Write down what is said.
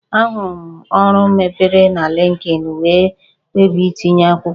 Ahụrụ m ọrụ mepere na Linkedin wee kpebie itinye akwụkwọ